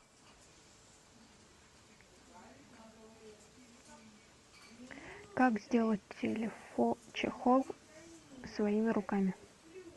как сделать чехол своими руками